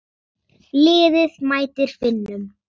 Liðið mætir Finnum.